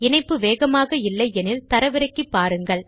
இணைப்பு இல்லையானால் தரவிறக்கி பாருங்கள்